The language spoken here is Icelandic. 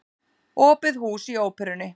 Opið hús í Óperunni